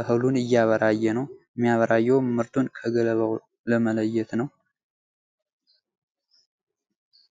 እህሉን እያበራየ ነው። የሚያበራየውም ምርቱን ከገለባ ለመለየት ነው።